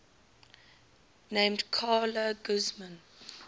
named carla guzman